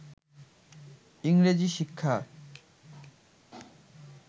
ইংরেজি শিক্ষা